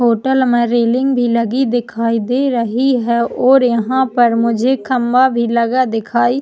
hotel में railing भी लगी दिखाई दे रही है और यहाँ पर मुझे खम्बा भी लगा दिखाई --